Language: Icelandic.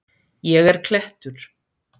Ég er klettur.